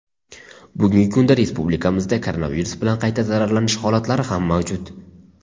Bugungi kunda respublikamizda koronavirus bilan qayta zararlanish holatlari ham mavjud.